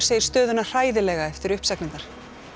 segir stöðuna hræðilega eftir uppsagnirnar